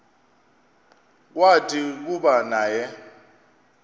kwathi kuba naye